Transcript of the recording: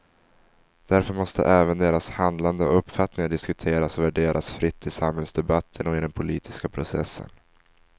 Därför måste även deras handlande och uppfattningar diskuteras och värderas fritt i samhällsdebatten och i den politiska processen.